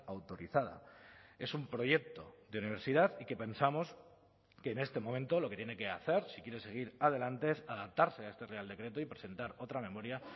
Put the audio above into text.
autorizada es un proyecto de universidad y que pensamos que en este momento lo que tiene que hacer si quiere seguir adelante es adaptarse a este real decreto y presentar otra memoria